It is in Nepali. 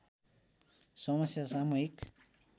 समस्या सामूहिक